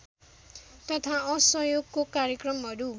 तथा असहयोगको कार्यक्रमहरू